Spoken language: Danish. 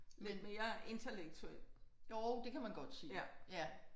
Men jo det kan man godt sige ja